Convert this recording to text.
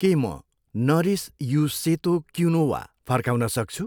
के म नरिस यु सेतो क्विनोआ फर्काउन सक्छु?